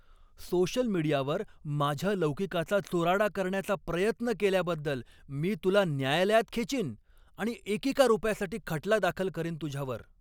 Social मीडियावर माझ्या लौकिकाचा चुराडा करण्याचा प्रयत्न केल्याबद्दल मी तुला न्यायालयात खेचीन आणि एकेका रुपयासाठी खटला दाखल करीन तुझ्यावर.